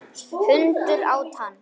Hundur át hann.